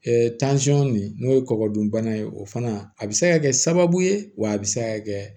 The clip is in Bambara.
nin n'o ye kɔkɔ dunbana ye o fana a bɛ se ka kɛ sababu ye wa a bɛ se ka kɛ